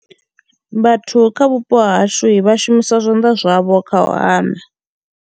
Vhathu kha vhupo ha hashui vha shumisa zwanḓa zwavho kha u hama.